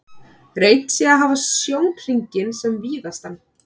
Reynt sé að hafa sjónhringinn sem víðastan.